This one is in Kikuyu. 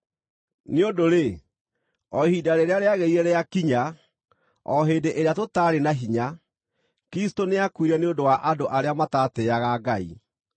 Nĩ ũndũ-rĩ, o ihinda rĩrĩa rĩagĩrĩire rĩakinya, o hĩndĩ ĩrĩa tũtaarĩ na hinya, Kristũ nĩakuire nĩ ũndũ wa andũ arĩa matatĩĩaga Ngai.